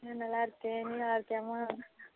நான் நல்லா இருக்கேன் நீ நல்லா இருக்கயா மா